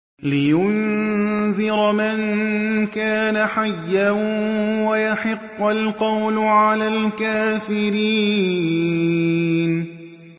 لِّيُنذِرَ مَن كَانَ حَيًّا وَيَحِقَّ الْقَوْلُ عَلَى الْكَافِرِينَ